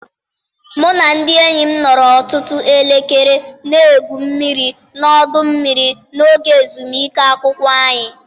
Mụ na ndị enyi m nọrọ ọtụtụ elekere na-egwu mmiri na ọdụ mmiri n'oge ezumike akwụkwọ anyị.